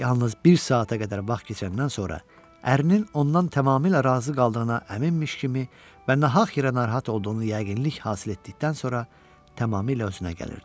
Yalnız bir saata qədər vaxt keçəndən sonra ərinin ondan tamamilə razı qaldığına əminmiş kimi və nahaq yerə narahat olduğunu yəqinlik hasil etdikdən sonra tamamilə özünə gəlirdi.